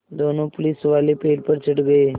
दोनों पुलिसवाले पेड़ पर चढ़ गए